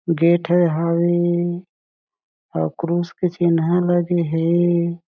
Gate हें हाऊ ऑकुरुस के चिन्हा लगे हें।